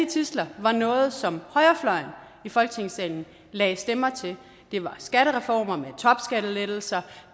tidsler var noget som højrefløjen i folketingssalen lagde stemmer til det var skattereformer med topskattelettelser